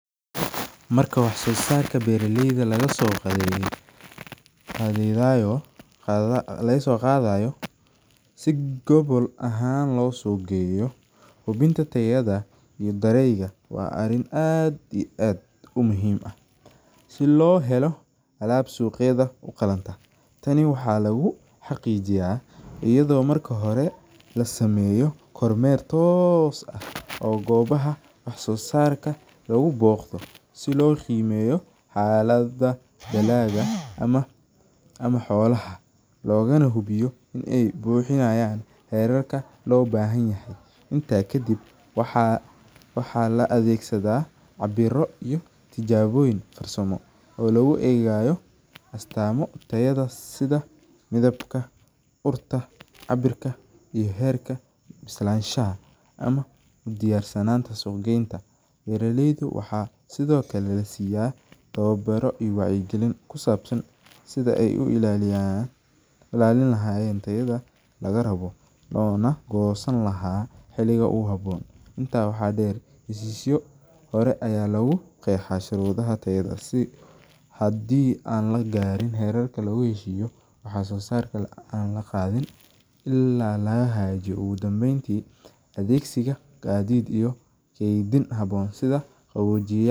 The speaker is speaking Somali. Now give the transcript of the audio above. Marka wax soo saarka beeraleyda laga soo qadaayo, si gobol ahaan loo suuq geeyo, si loo helo alaab suuqyada uqalanta, kor mar meelaha suuqa lagu sameeyo loona hubiyo inaay buxiyaan xeerarka, lagu egaayo astaamo sida midabka, waaxaa lasiiya wacyi galin sidaay u ilaalin lahaayen, sharudaha tayadaasi, ilaa laga hagaajiyo, ageegsida qalab haboon.